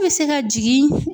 bɛ se ka jigin